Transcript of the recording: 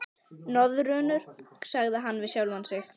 Nöðrurnar, sagði hann við sjálfan sig.